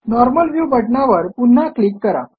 normal view बटणावर पुन्हा click करा